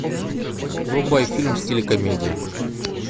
врубай фильм в стиле комедия